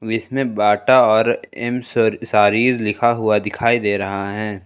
इसमें बाटा और एम सारीज लिखा हुआ दिखाई दे रहा है।